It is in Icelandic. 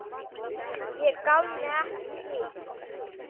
Ég gaf mig ekki!